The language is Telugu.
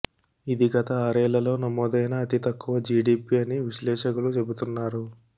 ఇది గత ఆరేళ్లలో నమోదైన అతి తక్కువ జీడీపీ అని విశ్లేషకులు చెబుతున్నారు